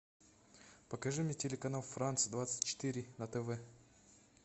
покажи мне телеканал франс двадцать четыре на тв